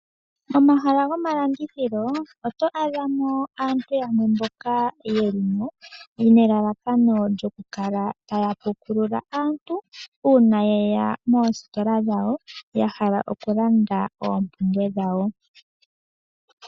Momahala gomalandithilo oto adha mo aantu yamwe mboka yeli mo nelalakano lyoku kala taya pukulula aantu, uuna yeya moositola dhawo, ya hala oku landa oompumbwe dhawo.